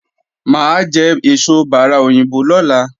Mà á jẹ èso bárà òyìnbó lọ́la